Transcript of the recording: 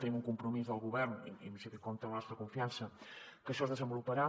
tenim un compromís del govern i en principi compta amb la nostra confiança que això es desenvoluparà